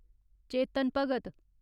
Chetan Bhagat